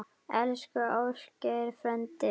Elsku Ásgeir frændi.